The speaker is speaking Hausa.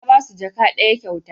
Na basu jaka ɗaya kyauta